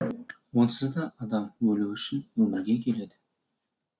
онсыз да адам өлу үшін өмірге келеді